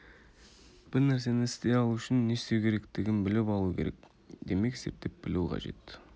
бір нәрсені істей алу үшін не істеу керектігін біліп алу керек демек зерттеп білу қажет